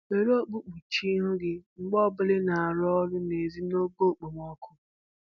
Were okpu kpuchie ihu gị mgbe ọbụla ị na-arụ n'ezi n'oge okpomọkụ